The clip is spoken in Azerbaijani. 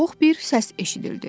Boğuq bir səs eşidildi.